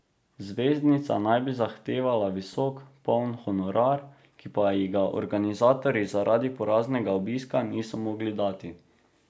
Zvezdnica naj bi zahtevala visok poln honorar, ki pa ji ga organizatorji zaradi poraznega obiska niso mogli dati.